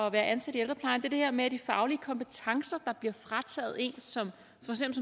at være ansat i ældreplejen er det her med de faglige kompetencer der bliver frataget en for som